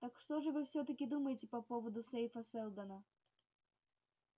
так что же вы всё-таки думаете по поводу сейфа сэлдона